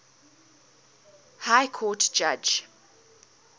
high court judge